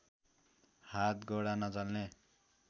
हात गोडा नचल्ने